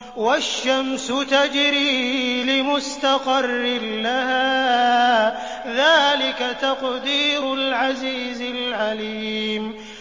وَالشَّمْسُ تَجْرِي لِمُسْتَقَرٍّ لَّهَا ۚ ذَٰلِكَ تَقْدِيرُ الْعَزِيزِ الْعَلِيمِ